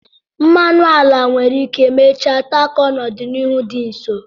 Mmanụ ala nwere ike mechaa takọọ n'ọdịnihu dị nso.